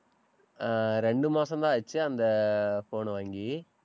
அஹ் இரண்டு மாசம்தான் ஆச்சு அந்த phone ன வாங்கி.